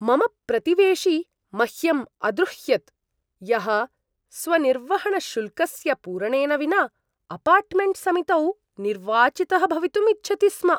मम प्रतिवेशी मह्यम् अद्रुह्यत् यः स्वनिर्वहणशुल्कस्य पूरणेन विना अपार्टमेण्ट् समितौ निर्वाचितः भवितुम् इच्छति स्म।